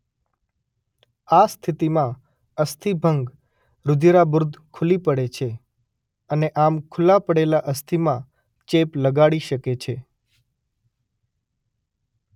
આ સ્થિતિમાં અસ્થિભંગ રુધિરાબુર્દ ખુલ્લી પડે છે અને આમ ખુલ્લા પડેલા અસ્થિમાં ચેપ લગાડી શકે છે.